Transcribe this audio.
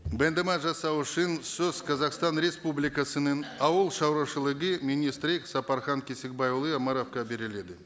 баяндама жасау үшін сөз қазақстан республикасының ауыл шаруашылығы министрі сапархан кесікбайұлы омаровқа беріледі